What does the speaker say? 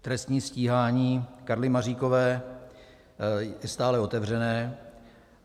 Trestní stíhání Karly Maříkové je stále otevřené.